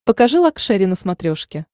покажи лакшери на смотрешке